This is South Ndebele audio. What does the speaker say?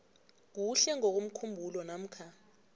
kuhle ngokomkhumbulo namkha